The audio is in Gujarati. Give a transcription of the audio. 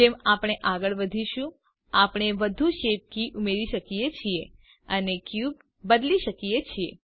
જેમ આપણે આગળ વધીશું આપણે વધુ શેપ કી ઉમેરી શકીએ છીએ અને ક્યુબ બદલી શકીએ છીએ